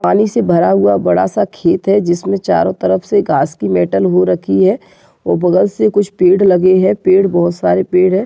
पानी से भरा हुआ बड़ा सा खेत है जिसमे चारो तरफ से घास की मेटल हो रखी है और बगल से कुछ पेड़ लगे है पेड़ बहुत सारे पेड़ है।